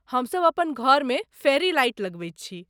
हमसभ अपन घरमे फेरी लाइट लगबैत छी।